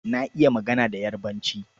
Na iya magana da Yarbanci.